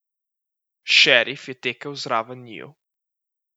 Šerif je tekel zraven njiju.